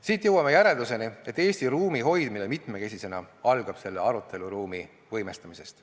Siit jõuame järeldusele, et Eesti ruumi hoidmine mitmekesisena algab selle aruteluruumi võimestamisest.